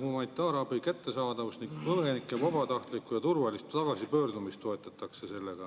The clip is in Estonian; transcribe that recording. humanitaarabi kättesaadavust tsiviilelanikele ning põgenike vabatahtlikku ja turvalist tagasipöördumist.